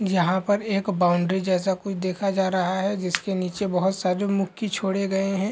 यहाँ पर एक बाउन्ड्री जैसा कुछ देखा जा रहा है जिसके नीचे बहुत सारे मुक्की छोड़े गए है।